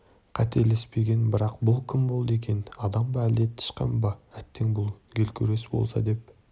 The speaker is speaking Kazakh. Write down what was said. қателеспеген бірақ бұл кім болды екен адам ба әлде тышқан ба әттең бұл геркулес болса деп